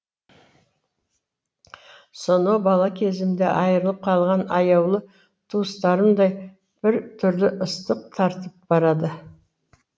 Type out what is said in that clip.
сонау бала кезімде айырылып қалған аяулы туыстарымдай біртүрлі ыстық тартып барады